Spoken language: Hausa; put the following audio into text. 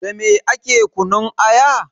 Dame ake kunun aya?